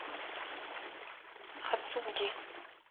ацуги